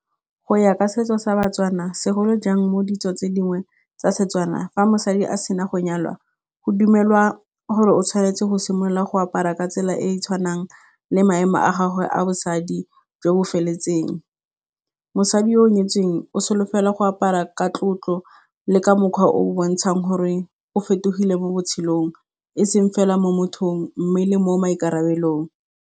Go ya ka setso sa Batswana, segolo jang mo ditso tse dingwe tsa setswana, fa mosadi a sena go nyalwa go dumelwa gore o tshwanetse go simolola go apara ka tsela e e tshwanang le maemo a gagwe a bosadi jo bo feletseng. Mosadi yo o nyetsweng o solofela go apara ka tlotlo le ka mokgwa o o bontshang gore o fetogile mo botshelong. E seng fela mo mothong mme le mo maikarabelong.